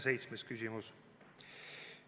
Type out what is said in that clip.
Seitsmes küsimus.